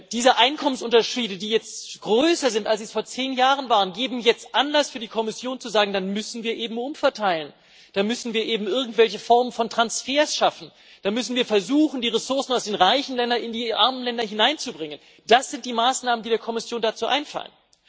Diese Einkommensunterschiede, die jetzt größer sind, als sie vor zehn Jahren waren, geben jetzt Anlass für die Kommission zu sagen Dann müssen wir eben umverteilen, dann müssen wir eben irgendwelche Formen von Transfers schaffen, dann müssen wir versuchen, die Ressourcen aus den reichen Ländern in die armen Länder hineinzubringen. Das sind die Maßnahmen, die der Kommission dazu einfallen.